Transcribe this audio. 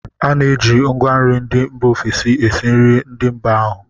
A na-eji ngwanri ndị mba ofesi esi nri ndị mba ahụ